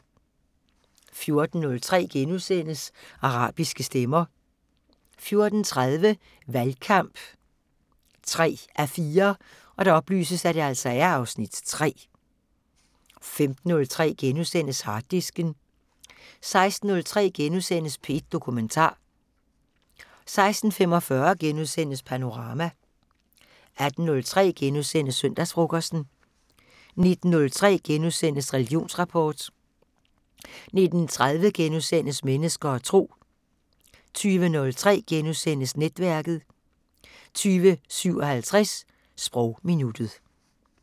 14:03: Arabiske stemmer * 14:30: Valgkamp 3:4 (Afs. 3) 15:03: Harddisken * 16:03: P1 Dokumentar * 16:45: Panorama * 18:03: Søndagsfrokosten * 19:03: Religionsrapport * 19:30: Mennesker og Tro * 20:03: Netværket * 20:57: Sprogminuttet